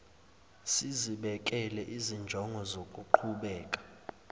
sizibekele izinjongo zokuqhubeka